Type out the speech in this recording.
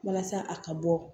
Walasa a ka bɔ